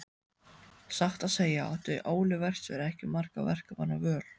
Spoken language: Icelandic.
Satt að segja átti Óli verkstjóri ekki margra verkamanna völ.